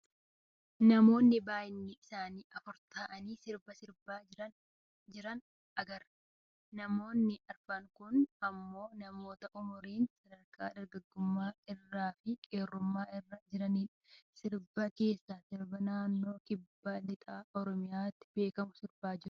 Namoota baayyiinni isaanii afur ta'anii sirba sirbaa jiran argaa jirra. namoonni arfan kun ammoo namoota umuriin sadarkaa dargaggummaa irra fi qeerrummaa irra jiranidha. sirboota keessa sirba naannoo kibba lixa Oromiyaatti beekamu sirbaa jiru.